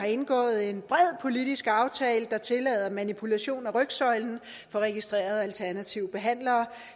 har indgået en bred politisk aftale der tillader manipulation af rygsøjlen for registrerede alternative behandlere